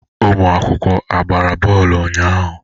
Ụmụ akwụkwọ agbara bọọlụ unyaahụ?